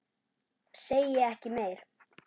Segi ekki meir.